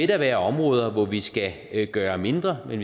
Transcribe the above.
der være områder hvor vi skal gøre mindre men